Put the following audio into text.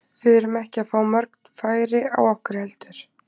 Við erum ekki að fá mörg færi á okkur heldur.